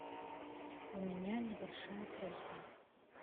у меня небольшая просьба